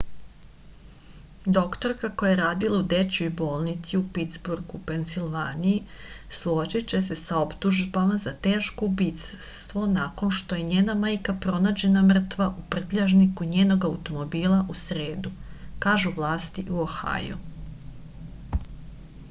doktorka koja je radila u dečijoj bolnici u pitsburgu u pensilvaniji suočiće se sa optužbom za teško ubistvo nakon što je njena majka pronađena mrtva u prtljažniku njenog automobila u sredu kažu vlasti u ohaju